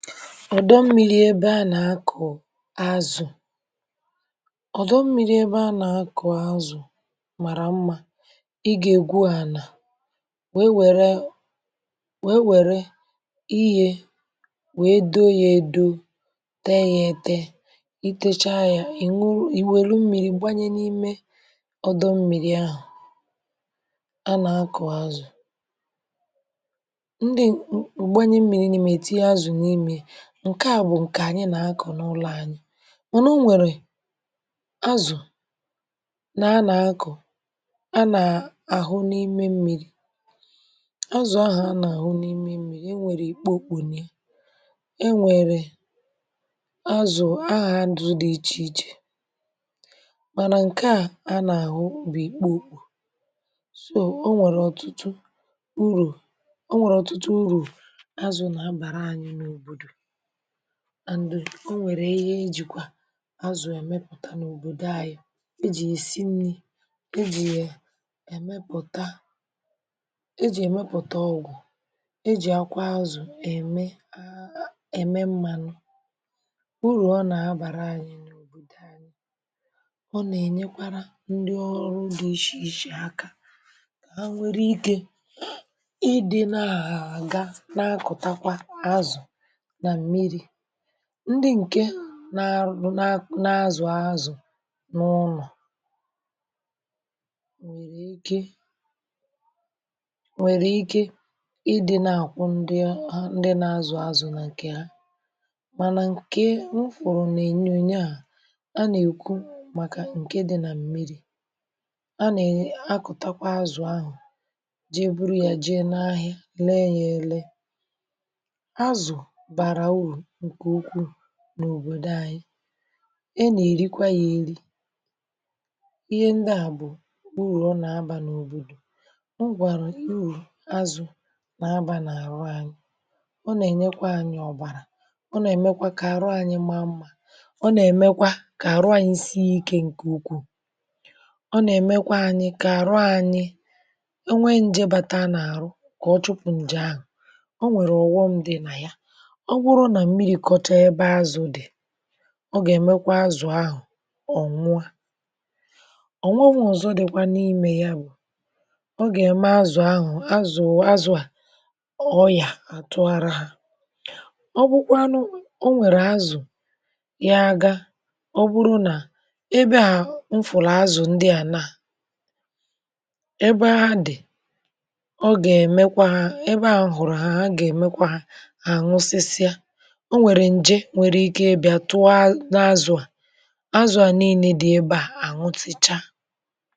Ọ́dọ̀ mmiri̇ ebe à nà-àkụ̀ azụ̀, ọ́dọ̀ mmiri̇ ebe à nà-àkụ̀ azụ̀, mȧrà mmȧ. Ị̀ gà-egwù àná, wèe wèrè, wèe wèrè ihe, wèe dò ya, èdò, tè ya, ète, ìtèchà ya. um Ị nwùrù, í wèlù mmiri, gbànyè n’ime ọ́dọ̀ mmiri̇ ahụ̀ à nà-àkụ̀ azụ̀. Ǹkè à bụ̀ ǹkè ànyị nà-akọ̀ n’ụlọ̇ ànyị, mànà ọ̀nwèrè azụ̀ nà à nà-akọ̀ à nà-àhụ̀ n’ime mmiri̇. Ạzụ̀ ahụ̀ à nà-àhụ̀ n’ime mmiri̇, è nwèrè ikpò òkpùnye, è nwèrè azụ̀ ahụ̀ à dụ̇, dị̀ iche iche. Mànà ǹkè à à nà-àhụ̀ ubì̇ ikpò òkpù so, ọ̀ nwèrè ọ̀tụ̀tụ̀ ùrù, ọ̀ nwèrè ọ̀tụ̀tụ̀ ùrù azụ̀ nà hà bàrà ànyị̇ n’òbòdò. Ọ̀ nwèrè ihe ejìkwà azụ̀ èmepụ̀tà n’òbòdò ànyị̇ è jì yì sì nni̇, è jì yì èmepụ̀tà, è jì èmepụ̀tà ọgwụ̀, è jì àkwà azụ̀ èmè, èmè mmànụ̇. Ụrù ọ nà-abàrà ànyị̇ n’òbòdò ànyị̇, ọ̀ nà-ènyekwara ndị ọrụ̇ dị̀ iche iche akà, kà hà nwee ike ịnọ, na-àgà, na-akụ̀takwa azụ̀.(um) Ndị ǹkè nà-azụ̀ azụ̀ n’ụlọ̀, nwere ike, nwere ike, ịdị̇ nà-akwụ̀ ndị ọ, hà ndị nà-azụ̀ azụ̀ n’ǹkè hà. Mànà ǹkè nwụ̀fụ̀rụ̀ n’ènye ònye ahụ̀ à nà-èku, màkà ǹkè dị̇ nà mmiri̇, à nà-akụ̀takwa azụ̀ ahụ̀, jee bùrù ya, jee n’ahịa, lee ya, èle n’òbòdò ànyị̇, ènà-èrikwa ya, èrì ihe ndị à bụ̀ kpụrụ̀. Ọ̀ nà-abà n’òbòdò, ọ̀ nwàrà ùrù azụ̀ nà-abà n’àrụ̀ ànyị̇. Ọ̀ nà-ènyekwa ànyị ọ̀bàrà, ọ̀ nà-èmekwa kà àrụ̀ ànyị má mmȧ, ọ̀ nà-èmekwa kà àrụ̀ ànyị sị iké ǹkè ukwuù. Ọ̀ nà-èmekwa ànyị kà àrụ̀ ànyị̇ enwe nje bàtà n’àrụ̀, kà ọ̀ chụ̀pụ̇ ǹjè ahụ̀. Ọ̀nwèrè ọ̀ghọṁ dị̇ nà ya mmiri̇ kọ́chà ebe azụ̀ dị̀, ọ̀ gà-èmekwa azụ̀ ahụ̀ ọnwụọ̀, ọ̀nwụ̀nwa, ọ̀zọ̀ dịkwa n’ime ya; bụ̀ nà ọ̀ gà-èmé azụ̀ ahụ̀, azụ̀, azụ̀ à, ọyà àtụ̀gharà hà. Ọ̀ bụ́kwanụ̇, ọ̀nwèrè azụ̀ yà gàà. Ọ̀ bụrụ̀ nà ebe à m fùrù azụ̀ ndị à nà ebe à dị̀, ọ̀ gà-èmekwa hà ebe à hụ̀rụ̀ hà, à gà-èmekwa hà. um Ọ̀nwèrè ǹjè nwere ike ị̀bịȧ, tụọ hà n’azụ̀; àzụ̀ à, nìilé dị̀ ebe à, anụ̀tachịchà.